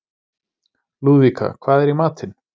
Lúðvíka, hvað er í matinn?